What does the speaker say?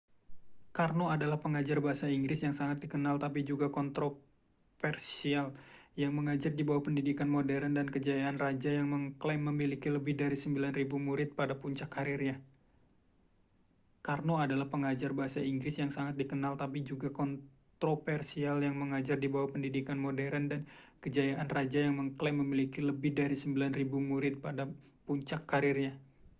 karno adalah pengajar bahasa inggris yang sangat dikenal tapi juga kontroversial yang mengajar di bawah pendidikan modern dan kejayaan raja yang mengklaim memiliki lebih dari 9.000 murid pada puncak karirnya